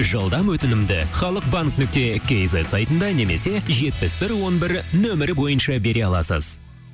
жылдам өтінімді халық банк нүкте кейзет сайтында немесе жетпіс бір он бір нөмірі бойынша бере аласыз